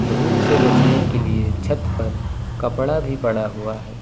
धूप से बचने के लिए छत पर कपड़ा भी पड़ा हुआ है।